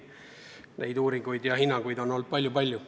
Sellekohaseid uuringuid ja hinnanguid on olnud palju-palju.